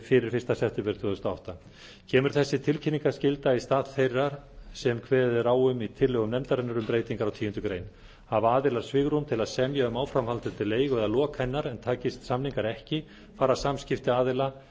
fyrir fyrsta september tvö þúsund og átta kemur þessi tilkynningarskylda í stað þeirrar sem kveðið er á um í tillögum nefndarinnar um breytingar á tíundu greinar hafa aðilar svigrúm til að semja um áframhaldandi leigu eða lok hennar en takist samningar ekki fara samskipti aðila